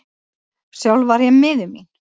Sjálf var ég miður mín.